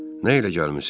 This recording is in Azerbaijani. Nə ilə gəlmisiz?